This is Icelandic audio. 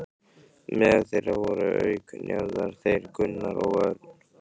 Meðal þeirra voru auk Njarðar þeir Gunnar Örn